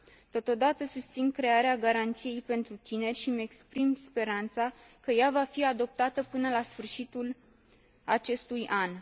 Totodată, susțin crearea garanției pentru tineri și îmi exprim speranța că ea va fi adoptată până la sfârșitul acestui an.